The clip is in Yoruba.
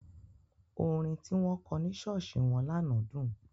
Orin tí wọ́n kọ ní ṣọ́ọ̀ṣì wọn lánàá dùn.